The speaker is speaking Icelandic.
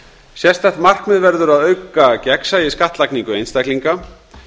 sérstakt markmið verður að auka gegnsæi í skattlagningu einstaklinga